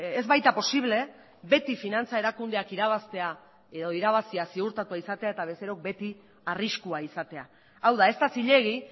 ez baita posible beti finantza erakundeak irabaztea edo irabazia ziurtatua izatea eta bezerok beti arriskua izatea hau da ez da zilegi